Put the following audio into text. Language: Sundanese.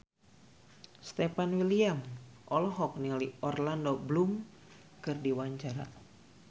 Stefan William olohok ningali Orlando Bloom keur diwawancara